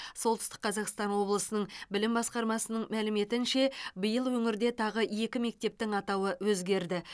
солтүстік қазақстан облысының білім басқармасының мәліметінше биыл өңірде тағы екі мектептің атауы өзгерді